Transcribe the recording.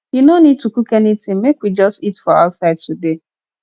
you no need to cook anything make we just eat for outside today